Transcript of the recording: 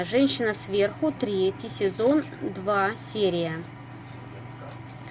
женщина сверху третий сезон два серия